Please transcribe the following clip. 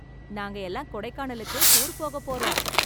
நாங்க எல்லாம் கொடைக்கானலுக்கு டூர் போக போறோம்